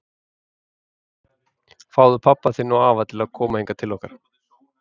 Fáðu pabba þinn og afa til að koma hingað til okkar!